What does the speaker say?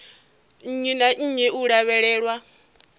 nnyi na nnyi u lavhelelwa